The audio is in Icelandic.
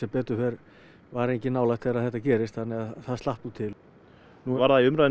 betur fer var enginn nálægt þegar þetta gerist þannig að það slapp nú til nú var það í